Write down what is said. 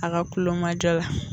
A ka kulomajɔ la